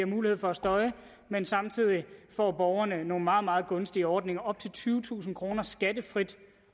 mulighed for at støje men samtidig får borgerne nogle meget meget gunstige ordninger op til tyvetusind kroner skattefrit